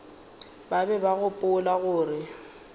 ba be ba gopola gore